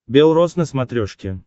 бел роз на смотрешке